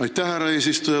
Aitäh, härra eesistuja!